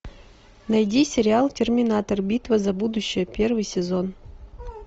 найди сериал терминатор битва за будущее первый сезон